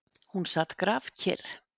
Hún sat grafkyrr.